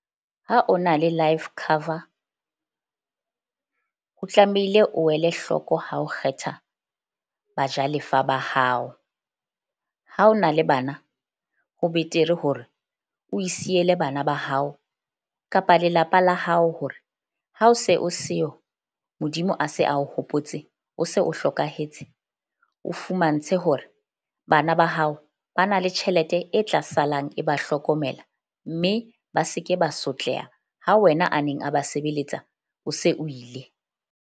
Ha o na le life cover ho tlamehile o wele hloko ha o kgetha bajalefa ba hao. Ha o na le bana, ho betere hore o e siele bana ba hao kapa lelapa la hao. Hore ha o se o seo Modimo a se a o hopotse, o se o hlokahetse, o fumantshe hore bana ba hao ba na le tjhelete e tla salang e ba hlokomela. Mme ba se ke ba sotleha ha wena a neng a ba sebeletsa o se o ile.